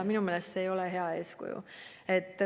Minu meelest see ei ole hea eeskuju.